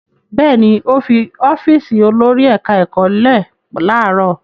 Bẹ́ẹ̀ ni, ó fi ọ́fíísì olórí ẹ̀ka-ẹ̀kọ́ lẹ̀ láàárọ̀.